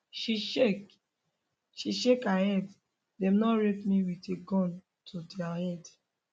she shake she shake her head dem no rape me with a gun to dia head